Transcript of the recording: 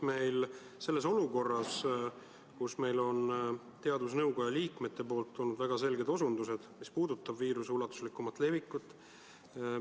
Meil on olukord, kus teadusnõukoja liikmetelt on tulnud väga selged osutused, mis puudutavad viiruse ulatuslikku levikut.